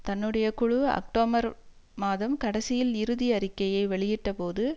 தன்னுடைய குழு அக்டோபர் மாதம் கடைசியில் இறுதி அறிக்கையை வெளியிட்ட போது